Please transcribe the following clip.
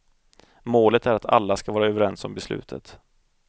Målet är att alla ska vara överens om beslutet.